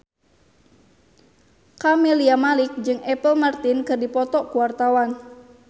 Camelia Malik jeung Apple Martin keur dipoto ku wartawan